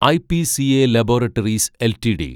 IPCA laboratories LTD